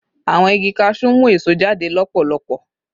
Awọn igi cashew mu eso jade lọpọlọpọ